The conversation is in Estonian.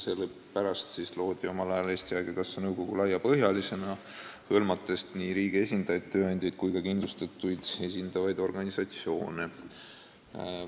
Sellepärast loodi omal ajal Eesti Haigekassa nõukogu laiapõhjalisena, see hõlmab nii riigi esindajaid, tööandjate ühendusi kui ka kindlustatuid esindavaid organisatsioone.